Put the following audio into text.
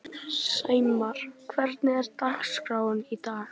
Sæmar, hvernig er dagskráin í dag?